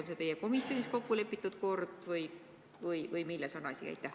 On see teie komisjonis kokku lepitud kord või milles on asi?